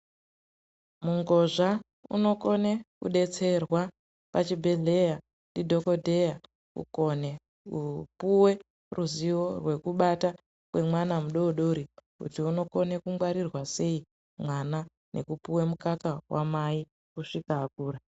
Mungozva unokone kudetserwa pachibhedhleya ndidhokodheya kukone kupuwe ruzivo rwekubata kwemwana mudodori kuti unokone kungwarirwa sei, mwana nekupuwa mukaka wamai kusvika akura.